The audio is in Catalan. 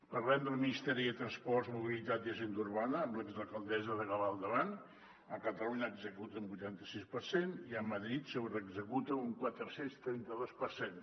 parlem del ministeri de transports mobilitat i agenda urbana amb l’exalcaldessa de gavà al davant a catalunya executa un vuitanta sis per cent i a madrid sobreexecuta un quatre cents i trenta dos per cent